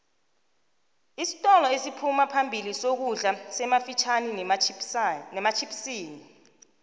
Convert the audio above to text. isintolo esiphuma phambili sokudla semafitjhini nematjhipsini